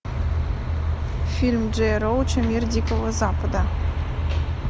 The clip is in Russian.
фильм джея роуча мир дикого запада